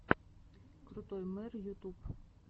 крутой мэр ютуб